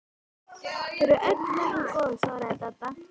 Þau eru öll nokkuð góð svaraði Dadda.